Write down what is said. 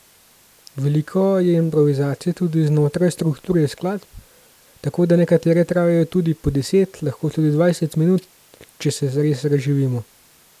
Veliko je improvizacije znotraj strukture skladb, tako da nekatere trajajo tudi po deset, lahko tudi dvajset minut, če se zares razživimo.